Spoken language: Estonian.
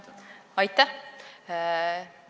Aitäh!